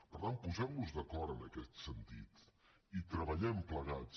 per tant posem nos d’acord en aquest sentit i treballem plegats